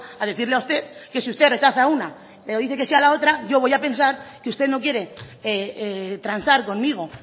a decirle a usted que si usted rechaza una o dice que sí a la otra yo voy a pensar que usted no quiere transar conmigo